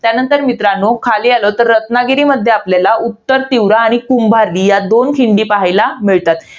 तर मित्रांनो, खाली आलो तर रत्नागिरीमध्ये आपल्याला उत्तरतीव्रा आणि कुंभार्ली या दोन खिंडी पाहायला मिळतात.